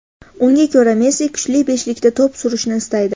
Unga ko‘ra, Messi kuchli beshlikda to‘p surishni istaydi.